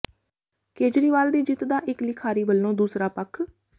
ਕੇਜਰੀਵਾਲ ਦੀ ਜਿੱਤ ਦਾ ਇੱਕ ਲਿਖਾਰੀ ਵੱਲੋਂ ਦੂਸਰਾ ਪੱਖ